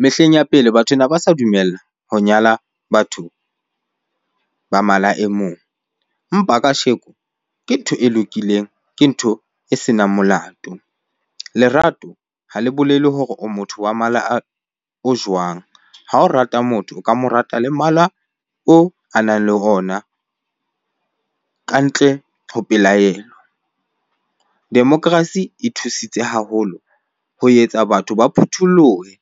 Mehleng ya pele, batho ne ba sa dumella ho nyala batho ba mala e mong. Empa kasheko ke ntho e lokileng, ke ntho e senang molato. Lerato ha le bolele hore o motho wa mala o jwang? Ha o rata motho, o ka mo rata le mala oo a nang le ona kantle ho pelaelo. Democracy e thusitse haholo ho etsa batho ba phuthulohe